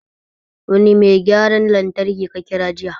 Wani mai gyaran lantraki ka kira jiya?